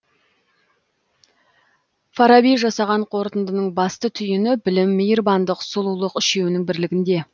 фараби жасаған қортындының басты түйіні білім мейірбандық сұлулық үшеуінің бірлігінде